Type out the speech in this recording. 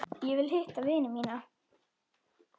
Ég vil hitta vini mína.